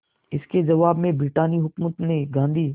इसके जवाब में ब्रितानी हुकूमत ने गांधी